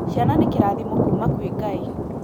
Ciana nĩkĩrathimo kuma kwĩ Ngai.